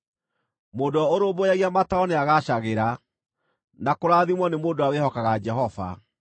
Mũndũ ũrĩa ũrũmbũyagia mataaro nĩagaacagĩra, na kũrathimwo nĩ mũndũ ũrĩa wĩhokaga Jehova.